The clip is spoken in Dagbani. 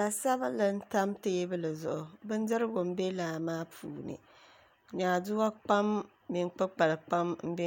La sabinli n tam teebuli zuɣu bindirigu n bɛ laa maa puuni nyaaduwa kpam mini kpukpali kpam n bɛ